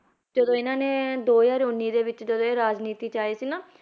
ਜਦੋਂ ਇਹਨਾਂ ਨੇ ਦੋ ਹਜ਼ਾਰ ਉੱਨੀ ਦੇ ਵਿੱਚ ਜਦੋਂ ਇਹ ਰਾਜਨੀਤੀ 'ਚ ਆਏ ਸੀ ਨਾ,